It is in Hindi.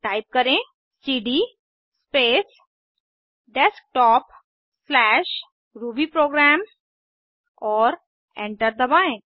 टाइप करें सीडी स्पेस desktopरूबीप्रोग्राम और एंटर दबाएं